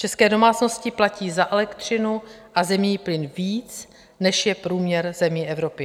České domácnosti platí za elektřinu a zemní plyn víc, než je průměr zemí Evropy.